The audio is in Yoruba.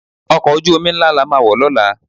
Ọkọ̀ ojú-omi ńlá la máa wọ̀ lọ́la